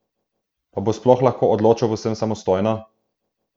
Pa bo sploh lahko odločal povsem samostojno?